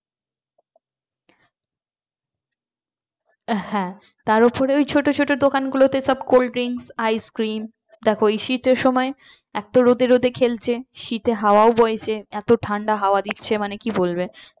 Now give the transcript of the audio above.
হ্যাঁ তার ওপরে ওই ছোট ছোট দোকানগুলোতে সব cold drinks ice cream তারপর ওই শীতের সময় এত রোদে রোদে খেলছে শীতে হওয়া ও বয় এত ঠান্ডা হাওয়া দিচ্ছে মানে